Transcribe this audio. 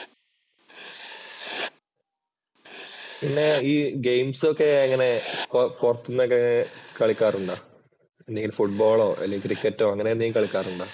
പിന്നെ ഈ ഗെയിംസ് ഒക്കെ എങ്ങനെ പൊറത്തുനിന്ന് ഒക്കെ കളിക്കാറുണ്ടോ? അല്ലെങ്കിൽ ഫുട്ബോളോ അല്ലേ ക്രിക്കറ്റോ അങ്ങനെ എന്തെങ്കിലും കളിക്കാറ് ഉണ്ടോ?